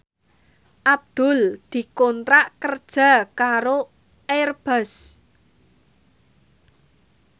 Abdul dikontrak kerja karo Airbus